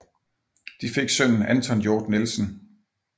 De fik sønnen Anton Hjort Nielsen